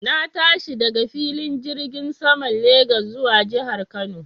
Na tashi daga filin jirgin saman Legas zuwa jihar Kano